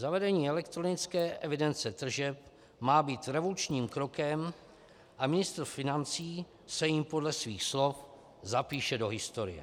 Zavedení elektronické evidence tržeb má být revolučním krokem a ministr financí se jím podle svých slov zapíše do historie.